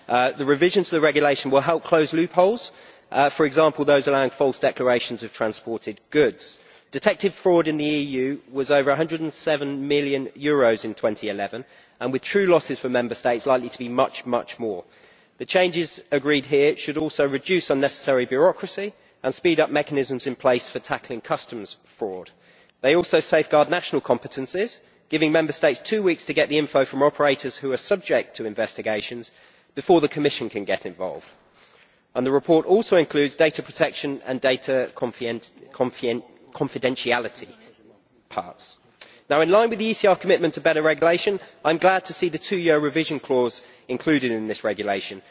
The revision to the regulation will help close loopholes, for example those allowing false declarations of transported goods. Detected fraud in the EU was over EUR 107 million in 2011, and the true losses for Member States are likely to be much, much more. The changes agreed here should also reduce unnecessary bureaucracy and speed up mechanisms in place for tackling customs fraud. They also safeguard national competences, giving Member States two weeks to get the information from operators who are subject to investigations before the Commission can get involved. The report also includes data protection and data confidentiality parts. In line with the ECR commitment to better regulation, I am glad to see the two year revision clause included in this regulation.